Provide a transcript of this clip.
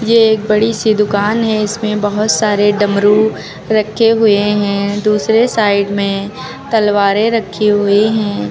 ये एक बड़ी सी दुकान है इसमें बहोत सारे डमरू रखे हुए हैं दूसरे साइड में तलवारे रखी हुई है।